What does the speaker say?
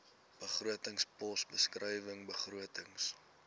begrotingspos beskrywing begrotings